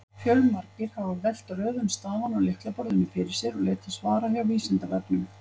Fjölmargir hafa velt röðun stafanna á lyklaborðinu fyrir sér og leitað svara hjá Vísindavefnum.